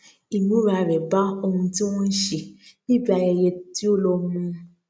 ìmúra rè bá ohun tí wón ń ṣe níbi ayẹyẹ tí ó lọ mu